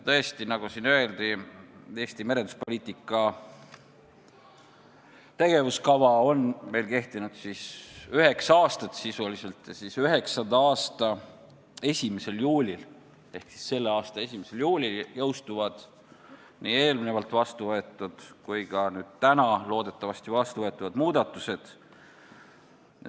Tõesti, nagu siin öeldi, on Eesti merenduspoliitika tegevuskava kehtinud meil sisuliselt üheksa aastat ja üheksanda aasta 1. juulil ehk selle aasta 1. juulil jõustuvad nii eelnevalt vastu võetud kui ka täna loodetavasti vastu võetavad muudatused.